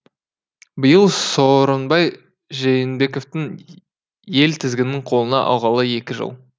биыл сооронбай жээнбековтің ел тізгінін қолына алғалы екі жыл